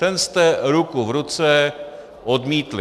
Ten jste ruku v ruce odmítli.